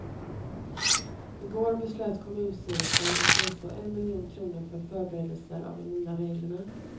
Igår beslöt kommunstyrelsen att anslå en miljon kronor för förberedelser av de nya reglerna.